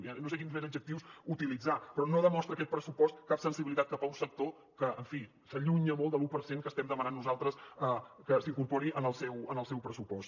ja no sé quins més adjectius utilitzar però no demostra aquest pressupost cap sensibilitat cap a un sector que en fi s’allunya molt de l’un per cent que estem demanant nosaltres que s’incorpori en el seu pressupost